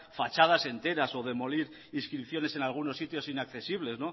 fachadas enteras o demoler inscripciones en algunos sitios inaccesible